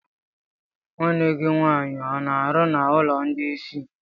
Nwanne gị nwaanyị ọ na-arụ n'ụlọ ndị isi?